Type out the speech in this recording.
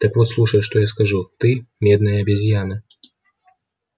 так вот слушай что я скажу ты медная обезьяна